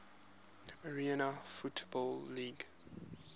arena football league